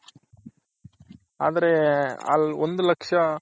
ಆದ್ರೆ ಒಂದು ಲಕ್ಷ